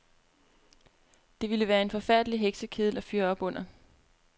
Det ville være en forfærdelig heksekedel at fyre op under.